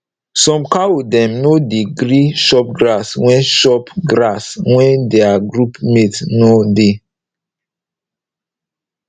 some cow dem nor dey gree chop grass wen chop grass wen deir group mate nor dey